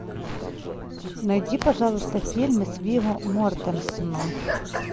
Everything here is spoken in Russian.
найди пожалуйста фильмы с вигго мортенсеном